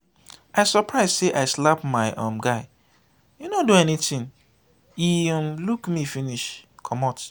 i surprise say i slap my um guy he no do anything.he um look me finish comot.